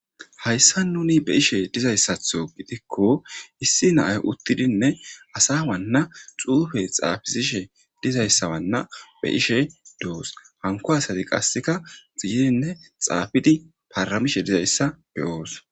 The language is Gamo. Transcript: hayssa nuni be'ishe dizayssatho gidikko issi naay uttidinne asa wanna xuufe xaafizishe dizayssawanna be ishe doos hanko asati qasseka xiyenne xaafidi paramishe dizayssa beyoos